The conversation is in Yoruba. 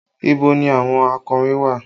Ibo ni àwọn akọrin wà?